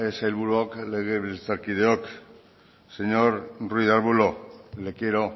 sailburuok legebiltzarkideok señor ruiz de arbulo le quiero